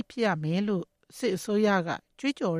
ဖြစ်ရမယ်လို့ ကြွေးကြော်